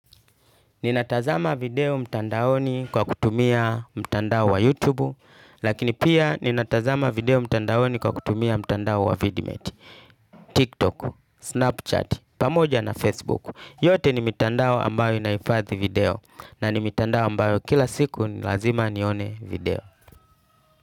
Ninatazama video mtandaoni kwa kutumia mtandao wa YouTube, lakini pia ninatazama video mtandaoni kwa kutumia mtandao wa VidMate, TikTok, Snapchat, pamoja na Facebook. Yote ni mtandao ambayo inaifadhi video, na ni mtandao ambayo kila siku nilazima nione video.